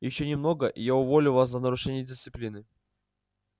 ещё немного и я уволю вас за нарушение дисциплины